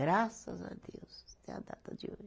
Graças a Deus, até a data de hoje.